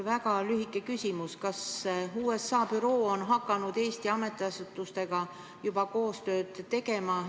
Väga lühike küsimus: kas USA büroo on hakanud Eesti ametiasutustega juba koostööd tegema?